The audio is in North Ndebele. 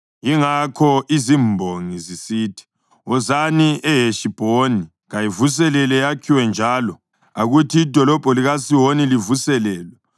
Yingakho izimbongi zisithi: “Wozani eHeshibhoni; kayivuselelwe yakhiwe njalo; akuthi idolobho likaSihoni livuselelwe.